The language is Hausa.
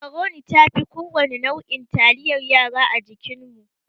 Macroni ta fi kowane nau'in taliyar yara a jikinmu.